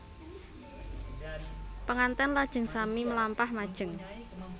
Penganten lajeng sami mlampah majeng